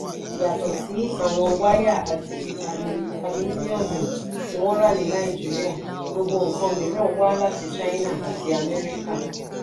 yàtọ̀ sí àwọn wáyà àti alumíníọ̀mù tí wọ́n rà ní nàìjíríà gbogbo nǹkan mìíràn wá láti china àti amẹ́ríkà.